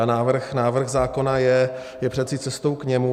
A návrh zákona je přece cestou k němu.